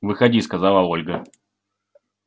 выходи сказала ольга